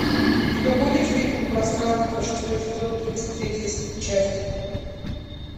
у тебя будет фильм пространство шестой сезон тридцать третья часть